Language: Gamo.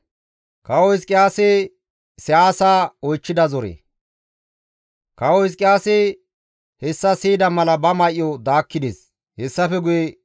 Kawo Hizqiyaasi hessa siyida mala ba may7o daakkides; hessafe guye maaqa may7idi GODAA Keeth gelides.